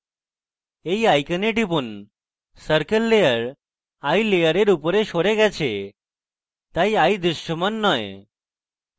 eye icon টিপুন circle layer eye layer উপরে সরে গেছে তাই eye দৃশ্যমান নয়